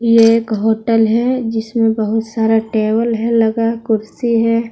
ये एक होटल है जिसमें बहुत सारा टेबल है लगा कुर्सी है।